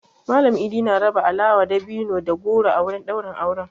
Mallam I'di na raba alawa, dabino da goro a wurin ɗaurin aure.